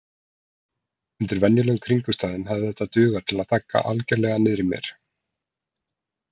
Undir venjulegum kringumstæðum hefði þetta dugað til að þagga algerlega niður í mér.